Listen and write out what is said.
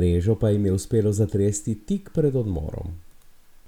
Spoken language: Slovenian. mrežo pa jim je uspelo zatresti tik pred odmorom.